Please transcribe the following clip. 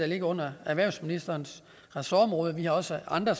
ligger under erhvervsministerens ressortområde der er også andre